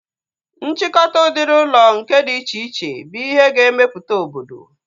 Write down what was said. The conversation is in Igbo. Nchịkọta udiri ụlọ nke dị iche iche bụ ihe ga-emeputa obodo